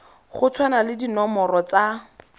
go tshwana le dinomoro tsa